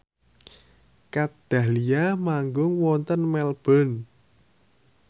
Kat Dahlia manggung wonten Melbourne